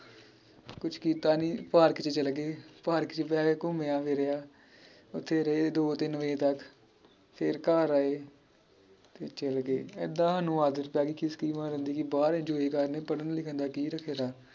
ਕੁਛ ਕੀਤਾ ਨੀ ਪਾਰਕ ਚ ਚਲਗੇ ਪਾਰਕ ਚ ਬਹਿ ਕੇ ਘੁੱਮੇਆਂ ਫਿਰਿਆ ਓਥੇ ਰਹੇ ਦੋ ਤਿੰਨ ਵਜੇ ਤਕ ਫਿਰ ਘਰ ਆਏ ਫਿਰ ਚਲਗੇ ਏਦਾਂ ਸਾਨੂੰ ਆਦਤ ਪੈਗੀ ਖਿਸਕੀ ਮਾਰਨ ਦੀ ਕਿ ਬਾਹਰ enjoy ਕਰਨੇ ਪੜਨ ਲਿਖਣ ਦਾ ਕਿ ਫਾਇਦਾ